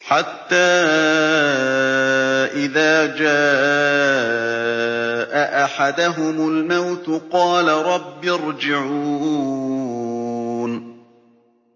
حَتَّىٰ إِذَا جَاءَ أَحَدَهُمُ الْمَوْتُ قَالَ رَبِّ ارْجِعُونِ